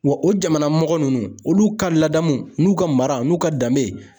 Wa o jamana mɔgɔ ninnu , olu ka ladamu n'u ka mara n'u ka danbe.